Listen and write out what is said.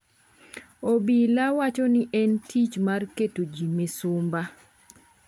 Obila wacho ni en tich mar keto ji misumba.